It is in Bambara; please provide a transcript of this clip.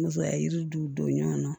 Musoya yiri dun don ɲɔgɔn na